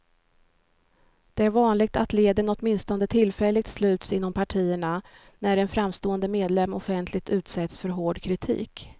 Det är vanligt att leden åtminstone tillfälligt sluts inom partierna, när en framstående medlem offentligt utsätts för hård kritik.